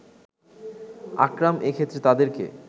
আকরাম এক্ষেত্রে তাদেরকে